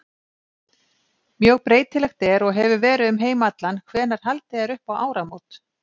Mjög breytilegt er og hefur verið um heim allan hvenær haldið er upp á áramót.